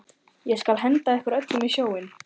Ég skal henda ykkur öllum í sjóinn!